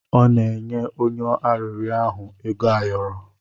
Ọ na-enye onye arịrịọ ahụ ego ayọrọ.